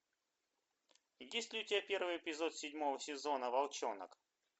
есть ли у тебя первый эпизод седьмого сезона волчонок